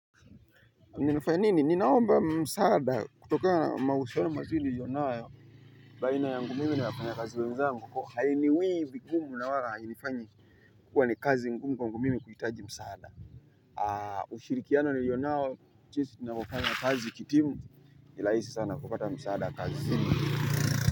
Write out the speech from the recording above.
Ninafanya nini, ninaomba msaada kutoka mahusiano mazuri niliyonayo baina yangu mimi na wafanyakazi wenzangu. Hainiwii vigumu na wala hainifanyi kuwa ni kazi ngumu kwa mimi kuhitaji msaada. Ushirikiano niliyonao, jinsi tunavofanya kazi kitimu ni rahisi sana kupata msaada kazini.